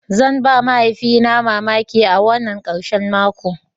Zan ba mahaifina na mamaki wannan karshen mako.